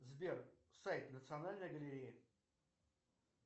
сбер сайт национальной галереи